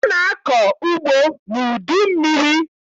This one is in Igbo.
A na-akọ ugbo n'udummiri.